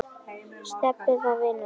Stebbi var vinur minn.